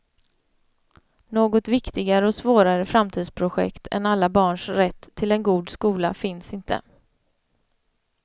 Något viktigare och svårare framtidsprojekt än alla barns rätt till en god skola finns inte.